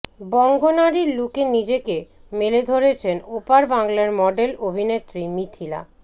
বঙ্গনারীর লুকে নিজেকে মেলে ধরেছেন ওপার বাংলার মডেল অভিনেত্রী মিথিলা